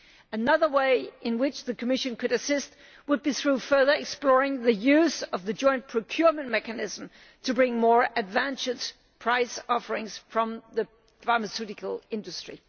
Another way in which the Commission could assist would be by further exploring the use of the joint procurement mechanism to obtain more advantageous price offers from the pharmaceutical industry.